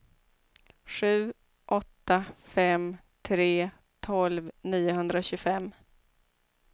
sju åtta fem tre tolv niohundratjugofem